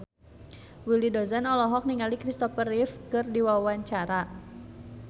Willy Dozan olohok ningali Christopher Reeve keur diwawancara